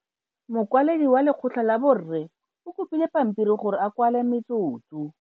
Mokwaledi wa lekgotla la borre o kopile pampiri gore a kwale metsotso.